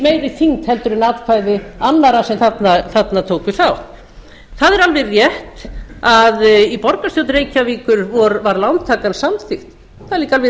meiri þyngd heldur en atkvæði annarra sem þarna tóku þátt það er alveg rétt að í borgarstjórn reykjavíkur var lántakan samþykkt það er líka alveg